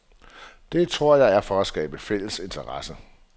Det, tror jeg, er for at skabe interesse.